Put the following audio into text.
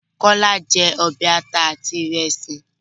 Kọ́lá jẹ́ ọbẹ̀ àta àti ìrèsì